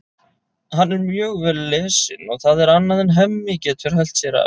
Hann er mjög vel lesinn og það er annað en Hemmi getur hælt sér af.